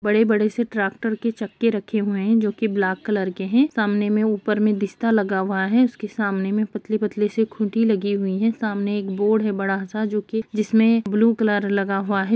बड़े-बड़े से ट्रैक्टर के चक्के रखे हुए हैं जो की ब्लैक कलर के हैं सामने में ऊपर में जिस्ता लगा हुआ है उसके सामने में पतली-पतली से खूंटी लगी हुई है सामने एक बोर्ड है बड़ा-सा जो की जिसमें ब्लू कलर लगा हुआ है।